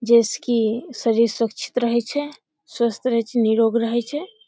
जे से की शरीर सुरक्षित रहे छै स्वस्थ रहे छै निरोग रहे छै।